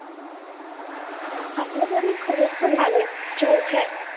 আমার বাড়ির খবর তো ভালোই, ছলছে।